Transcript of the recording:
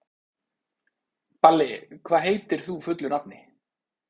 Balli, hvað heitir þú fullu nafni?